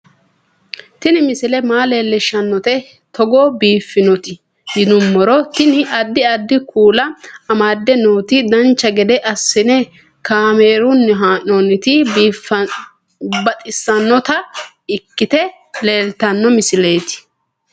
Tini misile maa leellishshannote togo biiffinoti yinummoro tini. addi addi kuula amadde nooti dancha gede assine kaamerunni haa'noonniti baxissannota ikkite leeltanno misileeti